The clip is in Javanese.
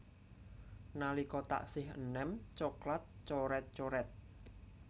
Nalika taksih eném coklat coret coret